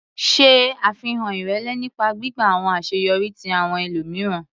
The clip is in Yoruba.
Ṣe afihan irẹlẹ nipa gbigba awọn aṣeyọri ti awọn ẹlomiran.